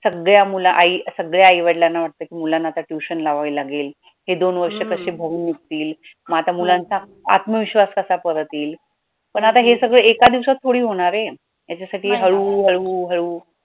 सगळ्या मुलं आई सगळ्या आई-वडिलांना वाटतं कि मुलांना आता tuition लावावी लागेल हे दोन वर्ष कशी भरून निघतील, मग आता मुलांचा आत्मविश्वास कसा परत येईल, पण आता हे सगळ एका दिवसात थोडी होणार आहे याच्यासाठी हळू-हळू-हळू